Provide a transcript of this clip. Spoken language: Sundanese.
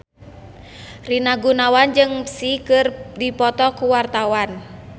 Rina Gunawan jeung Psy keur dipoto ku wartawan